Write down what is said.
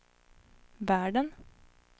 världen